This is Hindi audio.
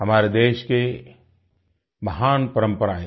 हमारे देश की महान परम्परायें हैं